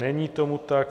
Není tomu tak.